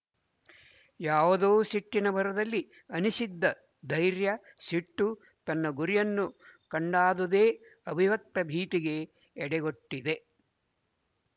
ಯಾವುದೋಸಿಟ್ಟಿನ ಭರದಲ್ಲಿ ಅನಿಸಿದ್ದ ಧೈರ್ಯ ಸಿಟ್ಟು ತನ್ನ ಗುರಿಯನ್ನು ಕಂಡಾದುದೇ ಅವಿವ್ಯಕ್ತ ಭೀತಿಗೆ ಎಡೆಗೊಟ್ಟಿದೆ